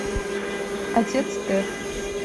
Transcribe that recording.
отец тед